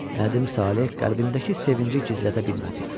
Nədim Saleh qəlbindəki sevinci gizlədə bilmədi.